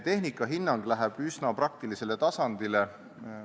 Tehnika hinnang läheb üsna praktilisele tasandile.